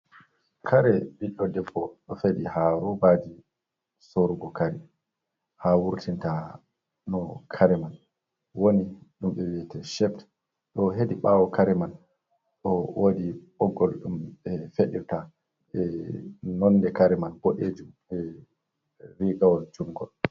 Kare ɓiɗɗo debbo ɗo feɗi ha robaji sorugo kare, ha wurtinta no kare man woni ɗum ɓe wi'ata shept. Ɗo hedi ɓawo kare man ɗo wodi ɓoggol ɗum ɓe feɗirta be nonde kare man boɗejjum rigawol jungol.